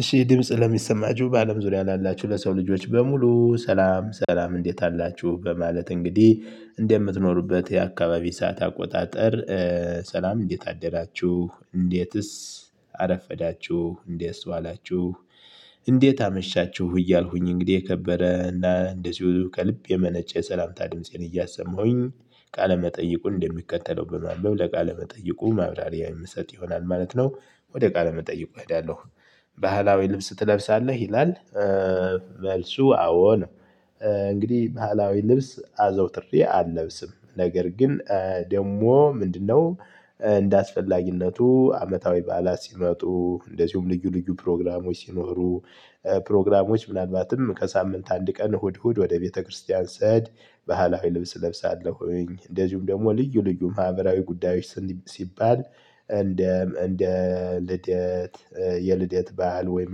እሺ ድምጽ ለሚሰማችሁ በአለም ዙሪያ ላላችሁ ለሰው ልጆች በሙሉ ሰላም ሰላም እንዴት አላችሁ በማለት እንግዲህ እንደምትኖሩበት የአካባቢ ሰዓት አቆጣጠር። ሰላም እንዴት አደራችሁ እንዴትስ አረፈዳችሁ እንዴትስ ዋላችሁ እንዴት አመሻችሁ እያልኩኝ እንግዲህ የከበረ እና እንደዚሁ ከልብ የመነጨ የሰላምታ ድምፄን እያሰማሁኝ ቃለመጠይቁን እንደሚከተለው በማንበብ ለቃለመጠይቁ ማብራሪያ የምሰጥ ይሆናል ማለት ነው ወደ ቃለመጠይቁ እሄዳለሁ። ባህላዊ ልብስ ትለብሳለህ ይላል? መልሱ አዎ ነው። እንግዲህ ባህላዊ ልብስ አዘውትሬ አለብስም ነገር ግን ደግሞ ምንድነው? እንደ አስፈላጊነቱ አመታዊ በዓላት ሲመጡ እንደዚሁም ልዩ ልዩ ፕሮግራሞች ሲኖሩ። ፕሮግራሞች ምናልባትም ከሳምንት አንድ ቀን እሁድ እሁድ ወደ ቤተክርስቲያን ስሄድ ባህላዊ ልብስ እለብሳለሁኝ። እንደዚሁም ደግሞ ልዩ ልዩ ማህበራዊ ጉዳዮች። ሲባል እንደ እንደ ልደት የልደት በዓል ወይም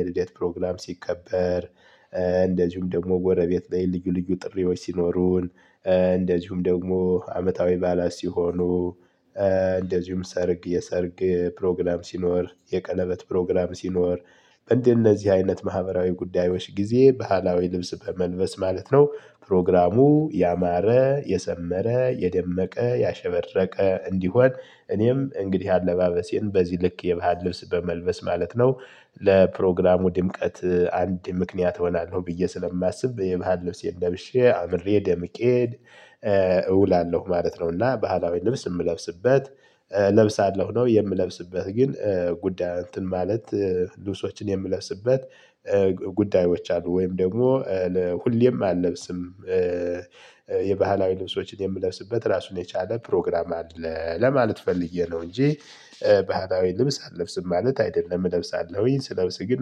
የልደት ፕሮግራም ሲከበር። እንደዚሁም ደግሞ ጎረቤት ላይ ልዩ ልዩ ጥሪዎች ሲኖሩን። እንደዚሁም ደግሞ አመታዊ በዓላት ሲሆኑ። እንደዚሁም ሰርግ የሰርግ ፕሮግራም ሲኖር የቀለበት ፕሮግራም ሲኖር። በእንደነዚህ አይነት ማህበራዊ ጉዳዮች ጊዜ ባህላዊ ልብስ በመልበስ ማለት ነው ፕሮግራሙ ያማረ የሰመረ የደመቀ ያሸበረቀ እንዲሆን እኔም እንግዲህ አለባበሴን በዚህ ልክ የባህል ልብስ በመልበስ ማለት ነው። ለፕሮግራሙ ድምቀት አንድ ምክንያት እሆናለሁ ብዬ ስለማስብ የባህል ልብሴን ለብሼ አምሬ ደምቄ እውላለሁ ማለት ነው። እና ባህላዊ ልብስ የምለብስበት እለብሳለሁ ነው የምለብስበት ግን ጉዳይ እንትን ማለት ልብሶችን የምለብስበት ጉዳዮች አሉ ወይም ደግሞ ለሁሌም አልለብስም። የባህላዊ ልብሶችን የምለብስበት ራሱን የቻለ ፕሮግራም አለ ለማለት ፈልጌ ነው እንጂ። ባህላዊ ልብስ አልለብስም ማለት አይደለም እለብሳለሁኝ ስለብስ ግን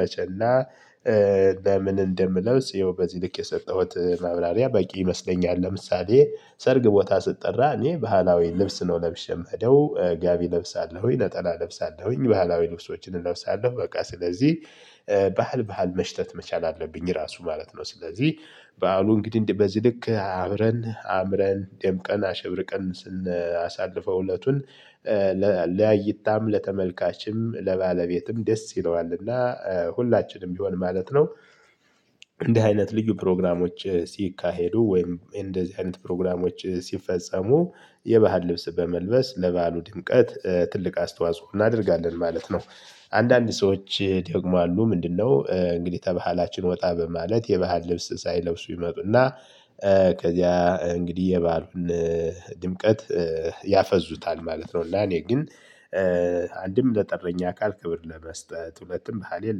መቸና ለምን እንደምለው ይኸው በዚህ ልክ የሰጠሁት ማብራሪያ በቂ ይመስለኛል። ለምሳሌ ሰርግ ቦታ ስጠራ እኔ ባህላዊ ልብስ ነው ለብሼ የምሄደው ጋቢ ለብሳለሁኝ ነጠላ ለብሳለሁኝ ባህላዊ ልብሶችን እለብሳለሁ በቃ ስለዚህ። ባህል ባህል መሽተት መቻል አለብኝ ራሱ ማለት ነው። ስለዚህ በዓሉ እንግዲህ በዚህ ልክ አብረን አምረን ደምቀን አሸብርቀን ስናሳልፈው እለቱን ለእይታም ለተመልካችም ለባለቤትም ደስ ይለዋል እና ሁላችንም ቢሆን ማለት ነው። እንዲህ አይነት ልዩ ፕሮግራሞች ሲካሄዱ ወይም እንደዚህ አይነት ፕሮግራሞች ሲፈጸሙ የባህል ልብስ በመልበስ ለባሉ ድምቀት ትልቅ አስተዋጽኦ እናደርጋለን ማለት ነው። አንዳንድ ሰዎች ደግሞ አሉ ምንድነው? እንግዲህ ከባህላችን ወጣ በማለት የባህል ልብስ ሳይለብሱ ይመጡና። ከዚያ እንግዲህ የበዓሉን ድምቀት ያፈዙታል ማለት ነው። ለኔ ግን አንድም ለጠራኛ አካል ክብር ለመስጠት ሁለትም ባህሌን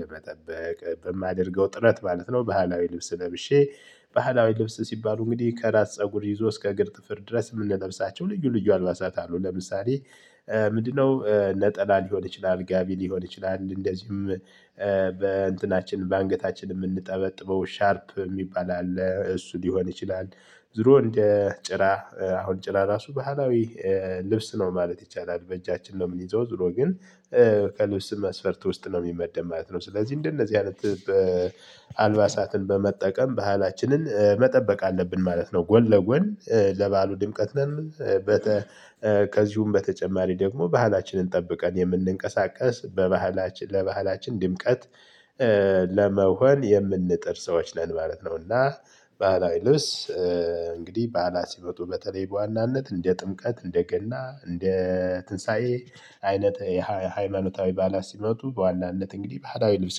ለመጠበቅ በማደርገው ጥረት ማለት ነው። ባህላዊ ልብስ ለብሼ ባህላዊ ልብስ ሲባሉ እንግዲህ ከራስ ፀጉር ይዞ እስከ እግር ጥፍር ድረስ እምንለብሳቸው ልዩ ልዩ አልባሳት አሉ ለምሳሌ። ምንድነው ነጠላ ሊሆን ይችላል ጋቢ ሊሆን ይችላል እንደዚሁም በእንትናችን በአንገታችን የምንጠበጥበው ሻርፕ የሚባል አለ እሱ ሊሆን ይችላል። ዙሮ እንደ ጭራ አሁን ጭራ ራሱ ባህላዊ ልብስ ነው ማለት ይቻላል። በእጃችን ነው የምንይዘው ዙሮ ግን ከልብስ መስፈርት ውስጥ ነው የሚመደብ ማለት ነው። ስለዚህ እንደነዚህ አይነት አልባሳትን በመጠቀም ባህላችንን መጠበቅ አለብን ማለት ነው። ጎን ለጎን ለበዓሉ ድምቀት በሚል ከዚሁም በተጨማሪ ደግሞ ባህላችንን ጠብቀን የምንንቀሳቀስ በባህላችን ለባህላችን ድምቀት ለመሆን የምንጥር ሰዎች ነን ማለት ነውና። ባህላዊ ልብስ እንግዲህ በዓላት ሲመጡ በተለይ በዋናነት እንደ ጥምቀት እንደ ገና እንደ ትንሳኤ አይነት ሃይማኖታዊ በዓላት ሲመጡ በዋናነት እንግዲህ ባህላዊ ልብስ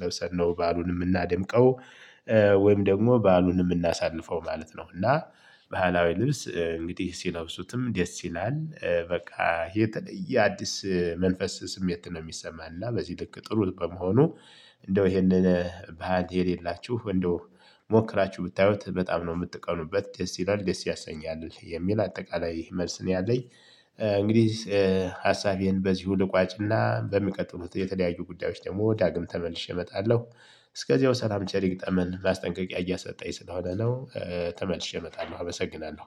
ለብሰን ነው በዐሉን የምናደምቀው። ወይም ደግሞ ባዐሉን የምናሳልፈው ማለት ነው። እና ባህላዊ ልብስ እንግዲህ ሲለብሱትም ደስ ይላል በቃ የተለየ አዲስ መንፈስ ስሜት ነው የሚሰማንና በዚህ ልክ ጥሩ በመሆኑ። እንደው ይሄንን ባህሪ የሌላችሁ እንደው ሞክራችሁ ብታዩት በጣም ነው የምትቀኑበት ደስ ይላል ደስ ያሰኛል የሚል አጠቃላይ መልስ ነው ያለኝ። እንግዲህ ሀሳቤን በዚሁ ልቋጭና በሚቀጥሉት የተለያዩ ጉዳዮች ደግሞ ዳግም ተመልሼ እመጣለሁ። እስከዚያው ሰላም ቸር ይግጠመን ማስጠንቀቂያ እየሰጠኝ ስለሆነ ነው። ተመልሼ እመጣለሁ አመሰግናለሁ።